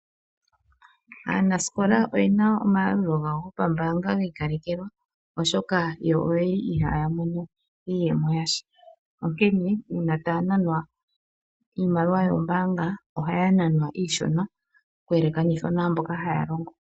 Aanasikola oye na onayalulilo gawo go pambaanga hi ikalekekwa, oshoka yo oye li ihaa ya mono iiyemo yasha, onkene uuna taa nanwa iimaliwa yombaanga, oha ya nanwa iishona, oku yekekanithwa naamboka haa longo.